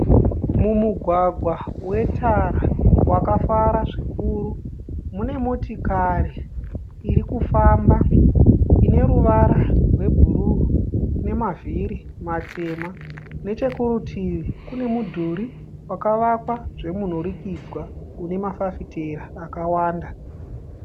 Mumugwagwa wetara wakafara zvikuru. Mune motokari irikufamba ine ruvara rwebhuruu nemavhiri matema. Nechekurutivi kune mudhuri wakavakwa zvemunhurikidzwa une mafafitera akawanda.